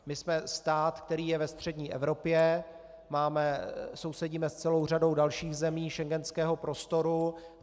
My jsme stát, který je ve střední Evropě, sousedíme s celou řadou dalších zemí schengenského prostoru.